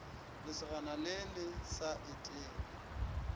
lesogana le le sa etego